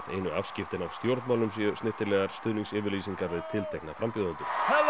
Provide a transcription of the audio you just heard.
einu afskiptin af stjórnmálum séu snyrtilegar stuðningsyfirlýsingar við tiltekna frambjóðendur